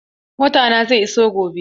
Motana zai iso gobe.